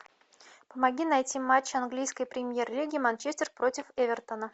помоги найти матч английской премьер лиги манчестер против эвертона